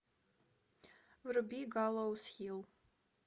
вруби галлоуз хилл